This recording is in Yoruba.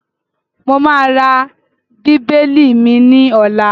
Mo máa ra bíbélì mi ní ọ̀la.